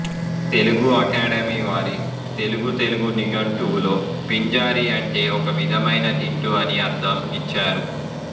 తెలుగుఅకాడమీ వారి తెలుగుతెలుగు నిఘంటువులో పింజారీ అంటే ఒకవిధమైన తిట్టు అనే అర్ధం ఇచ్చారు